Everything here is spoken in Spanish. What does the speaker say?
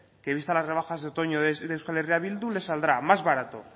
que vista las rebajas de otoño de euskal herria bildu les saldrá más barato